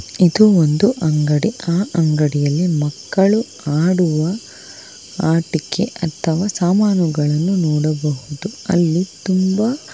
ಇದು ಒಂದು ಅಂಗಡಿ ಆ ಅಂಗಡಿಯಲ್ಲಿ ಮಕ್ಕಳು ಆಡುವ ಆಟಿಕೆ ಅಥವಾ ಸಾಮಾನುಗಳನ್ನು ನೋಡಬಹುದು ಅಲ್ಲಿ ತುಂಬಾ.